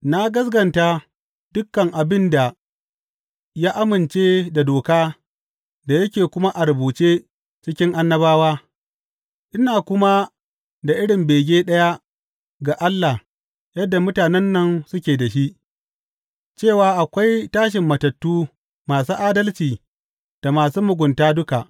Na gaskata dukan abin da ya amince da Doka da yake kuma a rubuce cikin Annabawa, ina kuma da irin bege ɗaya ga Allah yadda mutanen nan suke da shi, cewa akwai tashin matattu masu adalci da masu mugunta duka.